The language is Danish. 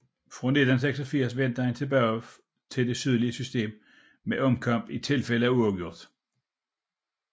Fra 1986 vendte man tilbage til det tidligere system med omkamp i tilfælde af uafgjort